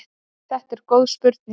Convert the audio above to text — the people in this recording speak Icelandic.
Þetta er góð spurning.